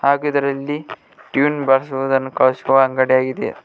ಹಾಗು ಇದರಲ್ಲಿ ಟ್ಯೂನ್ ಬಾರಿಸುವುದನ್ನು ಕಲಿಸುವ ಅಂಗಡಿಯಾಗಿದೆ.